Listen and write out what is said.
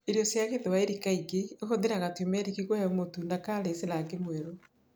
Irio cia Gĩthwaĩri kaingĩ ihũthagĩra turmeric kũhe mũtu na curries rangi mwerũ.